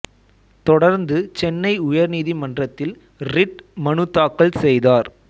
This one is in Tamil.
தொடர்ந்து சென்னை உயர் நீதிமன்றத்தில் ரிட் மனு தாக்கல் செய்தார்